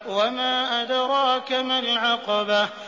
وَمَا أَدْرَاكَ مَا الْعَقَبَةُ